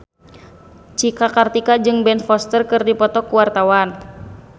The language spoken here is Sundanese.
Cika Kartika jeung Ben Foster keur dipoto ku wartawan